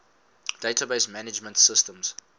database management systems